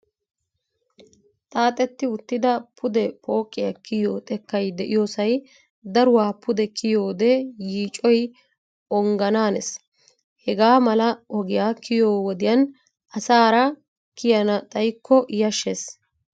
Xaaxetti uttida pudee pooqiyaa kiyiyoo xekkay de"iyoosay daruwaa pude kiyiyoodee yiicoyi ongganaanes. Hegaa mala ogiyaa kiyiyo wodiyan asaara kiyana xayikko yashshees.